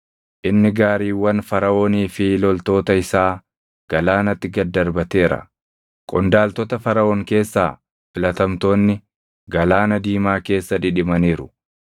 Inni gaariiwwan Faraʼoonii fi loltoota isaa galaanatti gad darbateera. Qondaaltota Faraʼoon keessaa filatamtoonni, Galaana Diimaa keessa dhidhimaniiru.